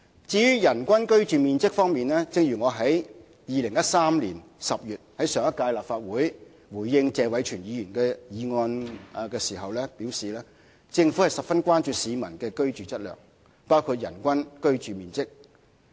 至於人均居住面積，正如我在2013年10月回應上屆立法會議員謝偉銓的議案時表示，政府十分關注市民的居住質素，包括人均居住面積。